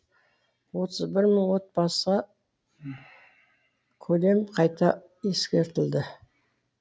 отыз бір мың отбасы көлемі қайта ескертілді